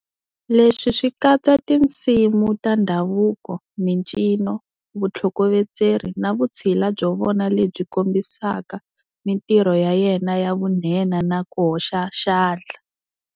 Leswi swi katsa tinsimu ta ndhavuko, mincino, vutlhokovetseri, na vutshila byo vona lebyi kombisaka mintirho ya yena ya vunhenha na ku hoxa xandla.